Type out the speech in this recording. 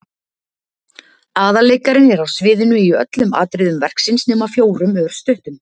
Aðalleikarinn er á sviðinu í öllum atriðum verksins nema fjórum örstuttum.